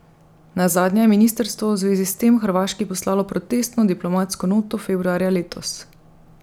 Nazadnje je ministrstvo v zvezi s tem Hrvaški poslalo protestno diplomatsko noto februarja letos.